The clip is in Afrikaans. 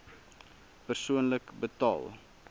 persoonlik betaal